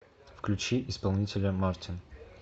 включи исполнителя мартин